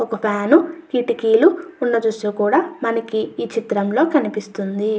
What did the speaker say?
ఒక ఫ్యాన్ కిటికీలు ఉన్న దృశ్యం కూడా మనకి కనిపిస్తుంది.